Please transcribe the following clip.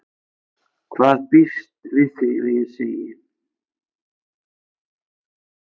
Hvað býst við því að ég segi?